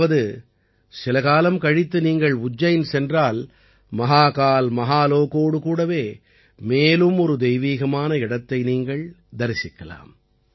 அதாவது சில காலம் கழித்து நீங்கள் உஜ்ஜைன் சென்றால் மஹாகால் மஹாலோகோடு கூடவே மேலும் ஒரு தெய்வீகமான இடத்தை நீங்கள் தரிசிக்கலாம்